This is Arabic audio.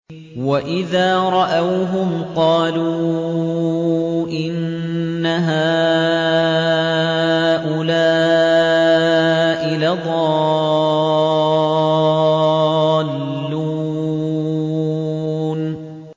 وَإِذَا رَأَوْهُمْ قَالُوا إِنَّ هَٰؤُلَاءِ لَضَالُّونَ